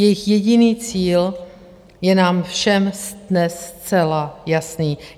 Jejich jediný cíl je nám všem dnes zcela jasný.